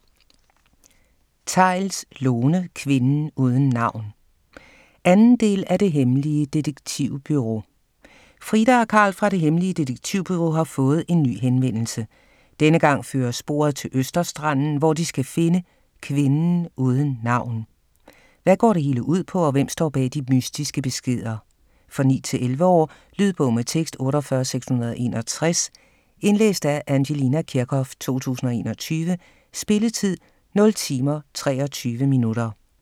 Theils, Lone: Kvinden uden navn 2. del af Det Hemmelige Detektivbureau. Frida og Karl fra "Det Hemmelige Detektivbureau" har fået en ny henvendelse. Denne gang fører sporet til Østerstranden, hvor de skal finde "kvinden uden navn". Hvad går det hele ud på, og hvem står bag de mystiske beskeder? For 9-11 år. Lydbog med tekst 48661 Indlæst af Angelina Kirchhoff, 2021. Spilletid: 0 timer, 23 minutter.